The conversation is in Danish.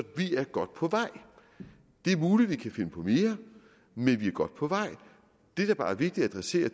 vi er godt på vej det er muligt vi kan finde på mere men vi er godt på vej det der bare er vigtigt at adressere